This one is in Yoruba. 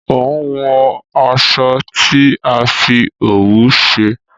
o n wo aṣọ tí a fí òwú ṣe.